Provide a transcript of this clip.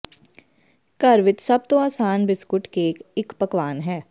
ਘਰ ਵਿਚ ਸਭ ਤੋਂ ਆਸਾਨ ਬਿਸਕੁਟ ਕੇਕ ਇਕ ਪਕਵਾਨ ਹੈ